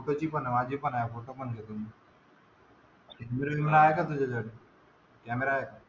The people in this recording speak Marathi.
ते तर ते माझे पण आहे फोटो पण घेतो मी, . कॆमेरा आहे का?